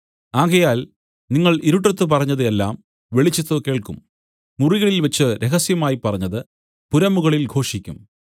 ആകയാൽ നിങ്ങൾ ഇരുട്ടത്ത് പറഞ്ഞത് എല്ലാം വെളിച്ചത്തു കേൾക്കും മുറികളിൽ വെച്ച് രഹസ്യമായി പറഞ്ഞത് പുരമുകളിൽ ഘോഷിക്കും